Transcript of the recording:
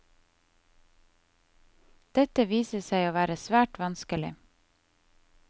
Dette viser seg å være svært vanskelig.